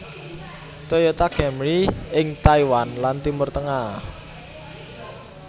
Toyota Camry ing Taiwan lan Timur Tengah